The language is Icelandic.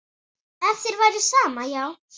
Ef þér væri sama, já.